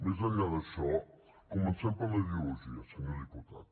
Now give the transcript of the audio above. més enllà d’això comencem per la ideologia senyor diputat